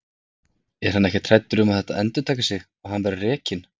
Er hann ekkert hræddur um að það endurtaki sig og hann verði rekinn?